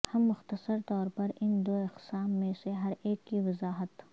ہم مختصر طور پر ان دو اقسام میں سے ہر ایک کی وضاحت